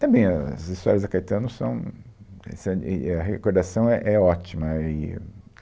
Também ãh as histórias da Caetano são... é, sã, e, A recordação é, é ótima e...